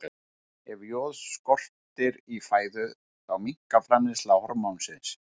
Ef joð skortir í fæðu þá minnkar framleiðsla hormónsins.